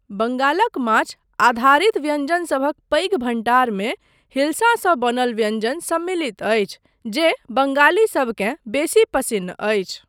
बंगालक माछ आधारित व्यञ्जनसभक पैघ भण्डारमे हिल्सासँ बनल व्यञ्जन सम्मिलित अछि, जे बंगालीसबकेँ बेसी पसिन्न अछि।